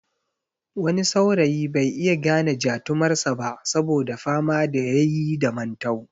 Wani saurayi bai iya gane jatumar sa ba saboda fama da yayi da mantau